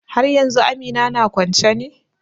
Haryanzu Amina na kwance ne?